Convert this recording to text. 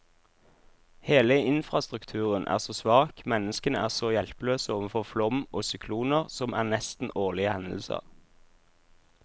Hele infrastrukturen er så svak, menneskene er så hjelpeløse overfor flom og sykloner, som er nesten årlige hendelser.